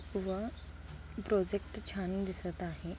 व प्रोजेक्ट छान दिसत आहे.